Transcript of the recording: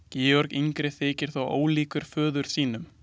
Georg yngri þykir þó ólíkur föður sínum.